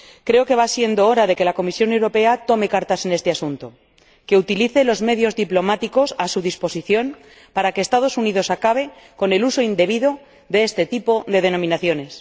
Creo que va siendo hora de que la Comisión Europea tome cartas en este asunto, de que utilice los medios diplomáticos a su disposición para que los Estados Unidos acaben con el uso indebido de este tipo de denominaciones.